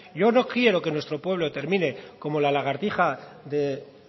yo no quiero que nuestro pueblo termine como la lagartija de